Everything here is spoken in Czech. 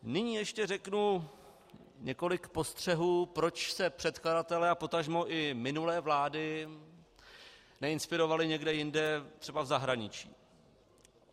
Nyní ještě řeknu několik postřehů, proč se předkladatelé a potažmo i minulé vlády neinspirovali někde jinde, třeba v zahraničí.